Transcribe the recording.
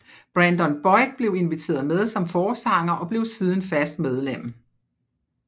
Brandon Boyd blev inviteret med som forsanger og blev siden fast medlem